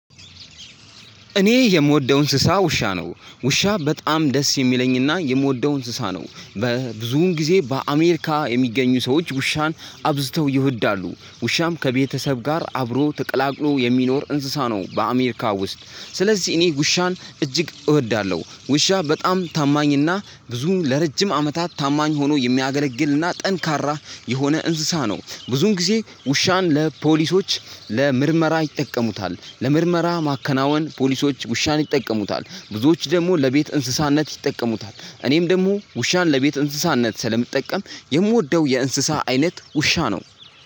እኔ የምወደው እንስሳ ውሻ ነው። ውሻ በጣም ደስ የሚለኝና የምወደው እንስሳ ነው። በብዙውን ጊዜ በአሜሪካ የሚገኙ ሰዎች ውሻን አብዝተው ይወዳሉ። ውሻም ከቤተሰብ ጋር አብሮ ተቀላቅሎ የሚኖር እንስሳ ነው በአሜሪካ ውስጥ ስለዚህ እኔ ውሻን እጅግ እወዳለሁ። ውሻ በጣም ታማኝና ብዙ ለረጅም አመታት ታማኝ ሆኖ የሚያገለግልና ጠንካራ የሆነ እንስሳ ነው። ብዙውን ጊዜ ውሻን ለፖሊሶች ለምርመራ ይጠቀሙታል። ለምርመራ ማከናወን ፖሊሶች ውሻን ይጠቀሙታል። ብዙዎች ደግሞ ለቤት እንስሳነት ይጠቀሙታል። እኔም ደግሞ ውሻን ለቤት እንስሳነት ስለምጠቀም የምወደው የእንስሳ አይነት ውሻ ነው።